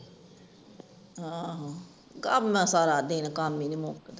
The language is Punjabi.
ਆਹੋ ਘਰ ਨਾ ਸਾਰਾ ਦਿਨ ਕੰਮ ਹੀ ਨਹੀਂ ਮੁਕਦਾ